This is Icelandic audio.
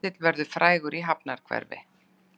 Ketill verður frægur í hafnarhverfi